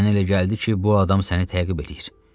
Mənə elə gəldi ki, bu adam səni təqib eləyir.